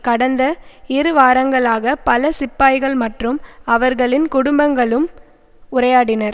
கடந்த இரு வாரங்களாக பல சிப்பாய்கள் மற்றும் அவர்களின் குடும்பங்களும் உரையாடினர்